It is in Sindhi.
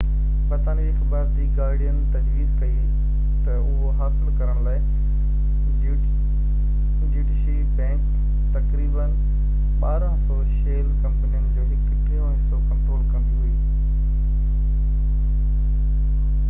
برطانوي اخبار دي گارڊين تجويز ڪئي ته اهو حاصل ڪرڻ لاءِ ڊيوٽشي بينڪ تقريبن 1200شيل ڪمپنين جو هڪ ٽيون حصو ڪنٽرول ڪندي هئي